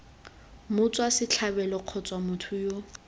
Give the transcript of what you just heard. motswa setlhabelo kgotsa motho yo